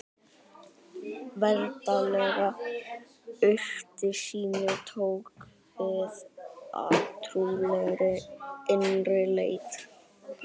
Veraldleg ytri sýn tók við af trúarlegri innri leit.